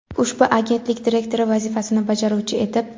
ushbu agentlik direktori vazifasini bajaruvchi etib;.